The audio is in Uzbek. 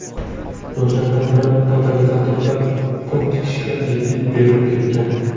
Yoshlardan biri totalizatorda pul tikishga jiddiy berilib ketgan.